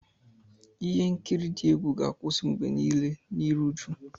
Ihe nkiri dị egwu ga-akwụsị mgbe niile na iru uju.